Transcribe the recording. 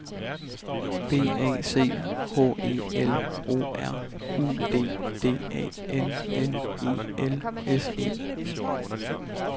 B A C H E L O R U D D A N N E L S E